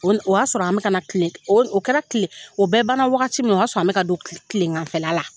O o y'a sɔrɔ an bi ka kana kilen , o o kɛra kilen, o bɛɛ bana wagati min, o y'a sɔrɔ, an bɛ ka ka don kilen kilenŋanfɛla la.